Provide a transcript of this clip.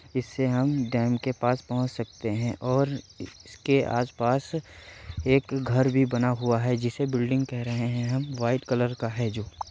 इसे हम डेम के पास पहोच सकते है और इसके आसपास एक घर भी बना हुवा है जिसे बिल्डिंग कह रहे है हम वाइट कलर का है जो --